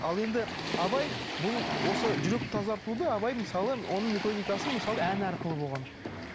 ал енді абай бұл осы жүрек тазартуды абай мысалы оның методикасы мысалы ән арқылы болған мхм